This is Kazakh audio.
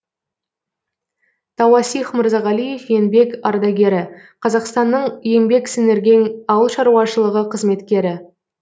тауасих мырзағалиев еңбек ардагері қазақстанның еңбек сіңірген ауыл шаруашылығы қызметкері